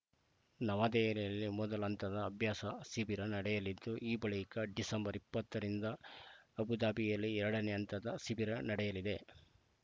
ನವದೆಹಲಿಯಲ್ಲಿ ಮೊದಲ ಹಂತದ ಅಭ್ಯಾಸ ಶಿಬಿರ ನಡೆಯಲಿದ್ದು ಆ ಬಳಿಕ ಡಿಸೆಂಬರ್ ಇಪ್ಪತ್ತ ರಿಂದ ಅಬು ಧಾಬಿಯಲ್ಲಿ ಎರಡನೇ ಹಂತದ ಶಿಬಿರ ನಡೆಯಲಿದೆ